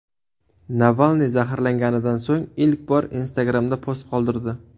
Navalniy zaharlanganidan so‘ng ilk bor Instagram’da post qoldirdi.